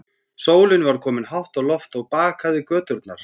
Sólin var komin hátt á loft og bakaði göturnar.